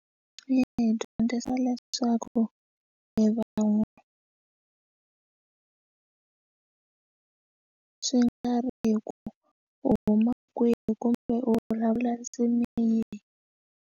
Yi dyondzisa leswaku hi van'we swi nga ri ku u huma kwihi kumbe u vulavula nsimu leyi.